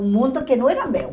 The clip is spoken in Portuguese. Um mundo que não era meu.